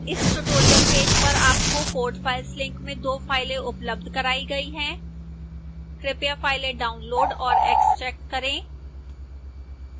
इस tutorial page पर आपको code files link में दो files उपलब्ध कराई गई हैं कृपया files डाउनलोड और एक्स्ट्रैक्ट करें